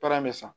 Baara in bɛ san